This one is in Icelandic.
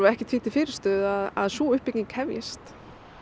ekkert því til fyrirstöðu að að sú uppbygging hefjist